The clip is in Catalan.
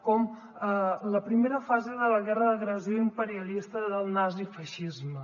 com la primera fase de la guerra d’agressió imperialista del nazifeixisme